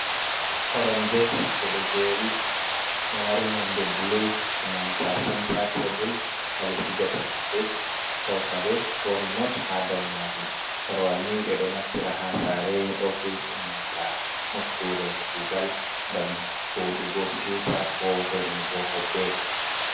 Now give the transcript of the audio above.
Koromje ɓe ɗo jeri, ɗo mari nonde blu e nanta senta tebul, haa ɓe sigata hunde, ko kare ko rimot haa dow majum. Korwal ni ɓe ɗo naftira haa saare, ofis e nanta nokkure kuugal ngam jooɗugo siwta, ko vernugo hoɓɓe.